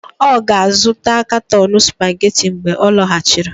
Ọ ga-azụta katọni Supageti mgbe ọ lọghachiri.